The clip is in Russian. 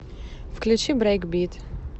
включи брейкбит